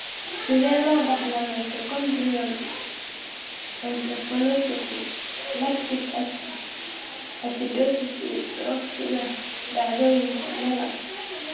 Sidee loo dhaxlaa mitochondrial encephalomyopathy, lactic acidosis, iyo stroke sida dhacdooyinka (MELAS)?